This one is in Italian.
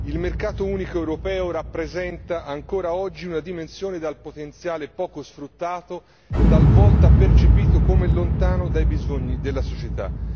Il mercato unico europeo rappresenta ancora oggi una dimensione dal potenziale poco sfruttato, talvolta percepito come lontano dai bisogni della società.